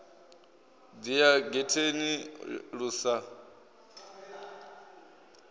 ḓi ya getheni lu sa